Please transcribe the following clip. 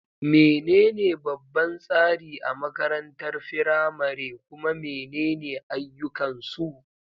Menene babban tsari a makarantar firamare, kuma menene ayyukansu?